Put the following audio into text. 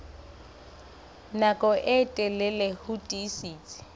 nako e telele ho tiisitse